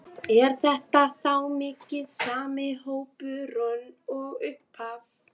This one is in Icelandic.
Er þetta þá mikið sami hópurinn og í upphafi?